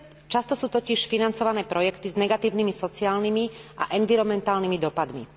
Často sú totiž financované projekty s negatívnymi sociálnymi a environmentálnymi dopadmi.